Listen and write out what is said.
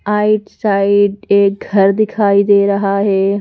आइट side एक घर दिखाई दे रहा है।